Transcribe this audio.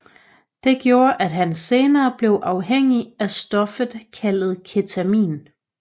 Det gjorde at han senere blev afhængig af stoffet kaldt Ketamin